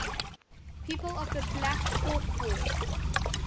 people of the black hawk war